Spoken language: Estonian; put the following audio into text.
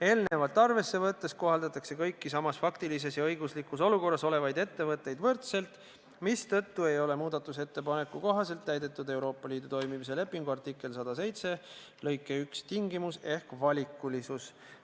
Eelnevat arvesse võttes kohaldatakse kõiki samas faktilises ja õiguslikus olukorras olevaid ettevõtteid võrdselt, mistõttu ei ole muudatusettepaneku kohaselt täidetud Euroopa Liidu toimimise lepingu artikkel 107 lõike 1 tingimust ehk valikulisust.